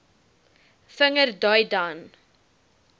vinger dui dan